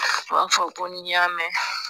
U b'a fɔ ko ni y'a mɛn.